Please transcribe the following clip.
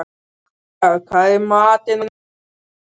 Snævarr, hvað er í matinn á sunnudaginn?